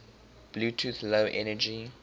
bluetooth low energy